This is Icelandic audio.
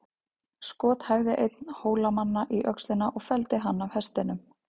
Skot hæfði einn Hólamanna í öxlina og felldi hann af hestinum.